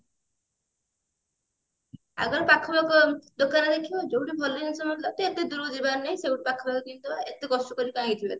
ଆଗ ପାଖ ପାଖ ଦୋକାନ ଦେଖିବା ଯୋଉଠି ଭଲ ଜିନିଷ ମିଳୁଥିବ ତ ଏତେ ଦୂରକୁ ଯିବାର ନାଇଁ ସେଇଠୁ ପାଖାପାଖି କ ଏତେ କଷ୍ଟ କର କାଇଁ କି ଯିବା ଏତ ବାଟ